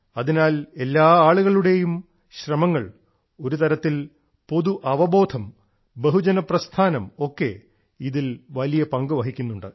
അതിനാൽ എല്ലാ ആളുകളുടെയും ശ്രമങ്ങൾ ഒരുതരത്തിൽ പൊതു അവബോധം ബഹുജന പ്രസ്ഥാനം ഒക്കെ ഇതിൽ വലിയ പങ്ക് വഹിക്കുന്നുണ്ട്